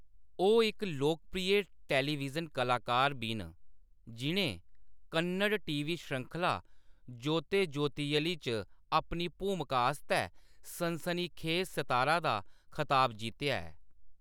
ओह्‌‌ इक लोकप्रिय टेलीविजन कलाकार बी न, जि'नें कन्नड़ टीवी श्रृंखला जोते जोतेयलि च अपनी भूमका आस्तै 'सनसनीखेज सितारा' दा खताब जित्तेआ ऐ।